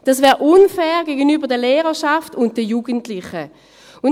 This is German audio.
Dies wäre gegenüber der Lehrerschaft und den Jugendlichen unfair.